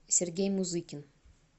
сергей музыкин